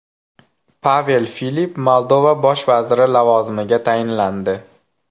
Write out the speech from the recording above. Pavel Filip Moldova bosh vaziri lavozimiga tayinlandi.